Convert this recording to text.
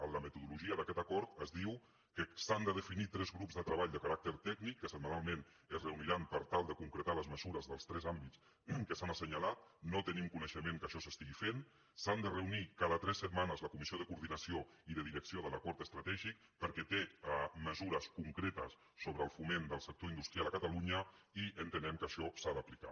en la metodologia d’aquest acord es diu que s’han de definir tres grups de treball de caràcter tècnic que setmanalment es reuniran per tal de concretar les mesures dels tres àmbits que s’han assenyalat no tenim coneixement que això s’estigui fent s’han de reunir cada tres setmanes la comissió de coordinació i de direcció de l’acord estratègic perquè té mesures concretes sobre el foment del sector industrial a catalunya i entenem que això s’ha d’aplicar